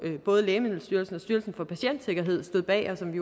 både lægemiddelstyrelsen og styrelsen for patientsikkerhed stod bag og som vi